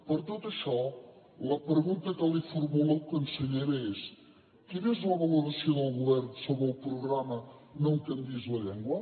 per tot això la pregunta que li formulo consellera és quina és la valoració del govern sobre el programa no em canviïs la llengua